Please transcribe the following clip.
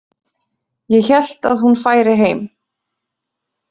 Ég hélt að hún færi heim.